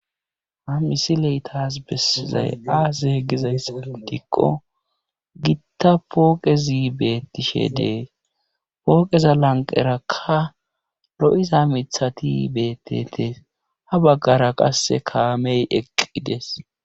Ha misiley taas besizay aa zeegizayssa dikqo gitta pooqezi beettishe dee pooqeza lanqerakka ro'iza mithati beettete ha baggara qasse kaamey eqqides..